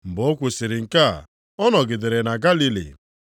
Mgbe o kwusiri nke a, ọ nọgidere na Galili.